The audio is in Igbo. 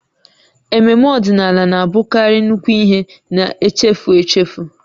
Ememme ọdịnala na-abụkarị nnukwu ihe na-echefu echefu